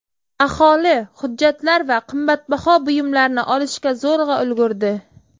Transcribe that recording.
Aholi hujjatlar va qimmatbaho buyumlarni olishga zo‘rg‘a ulgurdi.